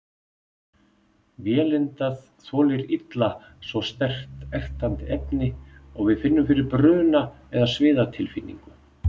Vélindað þolir illa svo sterkt, ertandi efni og við finnum fyrir bruna- eða sviðatilfinningu.